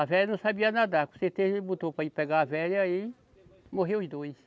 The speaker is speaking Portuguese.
A velha não sabia nadar, com certeza ele botou para ir pegar a velha e aí morreu os dois.